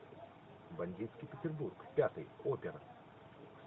бандитский петербург пятый опер